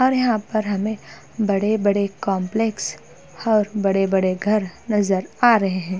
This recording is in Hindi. और यहां पर हमें बड़े-बड़े कंपलेक्स और बड़े-बड़े घर नजर आ रहे हैं।